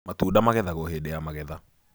matunda magethagwo hĩndĩ ya magetha